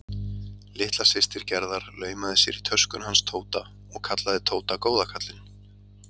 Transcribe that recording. Litla systir Gerðar laumaði sér í töskuna hans Tóta og kallaði Tóta góða kallinn.